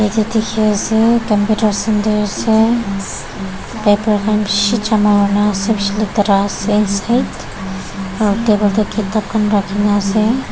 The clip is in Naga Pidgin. diki asae computer center asae paper khan bishi jama kurina asae bishi letera asae side aro table dae kitab khan rakikina asae.